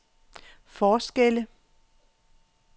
forskelle